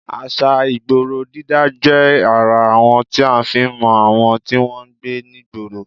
À̀ṣà ìgboro dídá jẹ́ ara àwọn tí a fi ń mọ àwọn tí wọn ń gbé nígboro